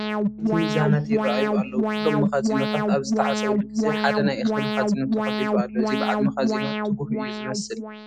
ዓበይቲ ሚዛናት ይርአዩ ኣለዉ፡፡ ኩሎም መኻዚኖታት ኣብ ዝተዓፀዉሉ ግዜ ሓደ ናይ እኽሊ መኻዚኖ ተኸፊቱ ኣሎ፡፡ እዚ በዓል መኻዚኖ ትጉህ እዩ ዝመስል፡፡